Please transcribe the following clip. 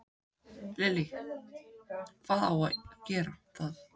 Lillý: Hvað á að gera það?